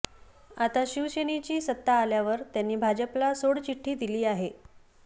आता शिवसेनेची सत्ता आल्यावर त्यांनी भाजपला सोडचिठ्ठी दिली आहे